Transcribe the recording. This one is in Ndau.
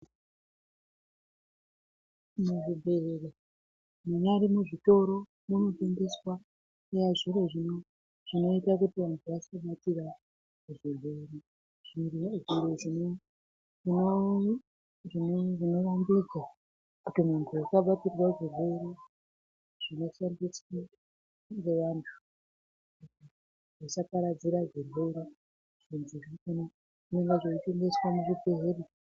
Muzvibhedhlera munyari muzvitoro munotengeswa zviro zvinoita kuti vanhu vasabatira zvirwere zvirwere zvimwe izvi zvinorambidzwa kuti munhu usaparadzira zvirwere zvinoparadzirwe ngevandu. Musaparadzira zvirwere.